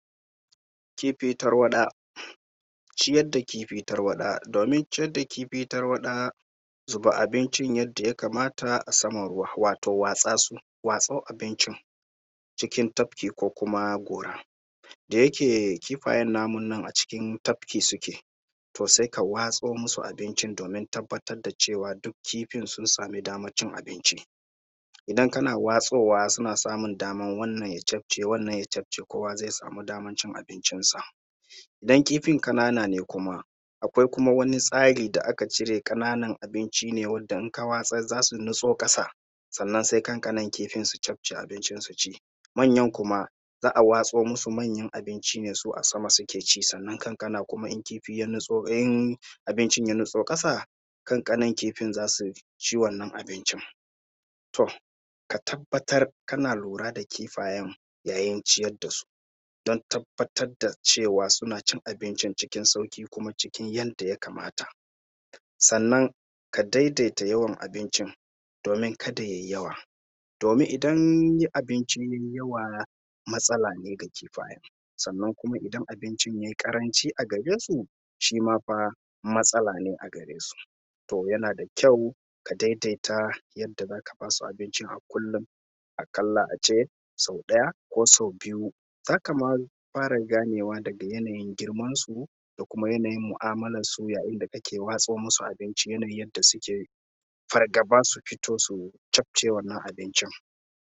Kifi tarwaɗa. Ciyar da kifi tarwaɗa, domin ciyar da kifi tarwaɗa, zuba abincin yadda ya kamata a saman ruwa, watau watsa su, watso abincin chkin tafki ko kuma gora. Da yake kifayen namu nan a cikin tafki suke, to sai ka watso musu abincin domin tabbatar da cewa duk kifin sun samu daman cin abinci. Idan kana watsowa suna samun daman wannan ya cafke wannan ya cafke kowa zai samu daman cin abincinsa. Idan kifin ƙanana ne kuma, akwai kuma wani tsari da ake cire ƙananan abinci ne wanda in ka watsar za su natso ƙasa, sannan sai ƙanƙanan kifin su cafke abincin su ci. Manyan kuma za a watso musu manyan abinci ne su a sama suke ci sannan ƙanƙanan kuma in kifi ya natso in abincin ya natso ƙasa, ƙanƙanan kifin za su ci wannan abincin. To, ka tabbatar kana lura da kifayen yayin ciyar da su, don tabbatar da cewa suna cin abincin cikin sauƙi kuma cikin yanda ya kamata. Sannan, ka daidaita yawan abincin domin kada ya yi yawa, domin idan abincin ya yi yawa matsala ne ga kifaye, sannan kuma idan abincin ya yi ƙaranci a gare su, shi ma fa, matsala ne a gare su. To, yana da kyau ka daidaita yadda za ka ba su abincin a kullum, aƙalla a ce sau ɗaya, ko sau biyu. Za ka ma fara ganewa daga yanayin girmansu, da kuma yanayin mu'amalansu yayin da kake watso musu abinci yanayin yadda suke fargaba su fito su cafke wannan abincin.